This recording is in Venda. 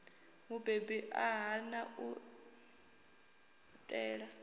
mubebi a hana u ṋea